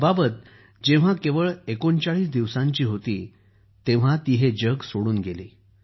अबाबत जेव्हा केवळ ३९ दिवसांची होती तेव्हा ती हे जग सोडून गेली